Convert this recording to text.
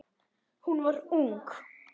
Hún var ung.